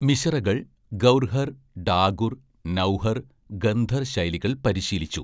മിശ്റകൾ ഗൗർഹർ, ഡാഗുർ, നൗഹർ, ഖന്ദർ ശൈലികൾ പരിശീലിച്ചു.